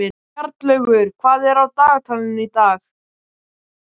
Bjarnlaugur, hvað er á dagatalinu í dag?